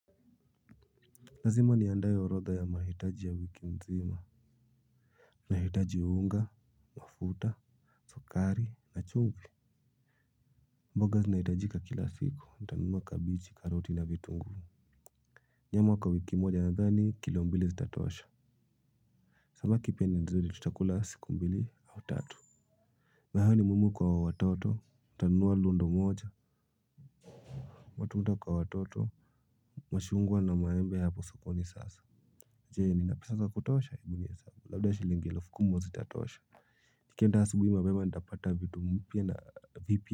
Lazima niandhae orodha ya mahitaji ya wiki mzima. Nahitaji unga, mafuta, sukari na chumvi. Mboga zinahitajika kila siku nitanunua kabeji, karoti, na vitunguu. Nyama kwa wiki moja, nadhani kilo mbili zitatosha. Samaki pia ni mzuri, tutakula siku mbili au tatu. Mahali mumo kwa watoto nitanunua lundo moja. Matunda kwa watoto machungwa na maembe hapo sokoni sasa. Je? Nina pesa za kutosha? Ebu nihesabu labda shilingi elfu kumi mwezi zitatosha. Nikienda asubuhi mapema nitapata vitu mpya na vipi.